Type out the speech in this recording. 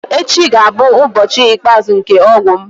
Echi ga-abụ ụbọchị ikpeazụ nke ọgwụ m.